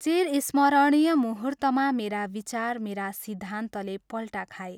चिरस्मरणीय मुहूर्तमा मेरा विचार, मेरा सिद्धान्तले पल्टा खाए।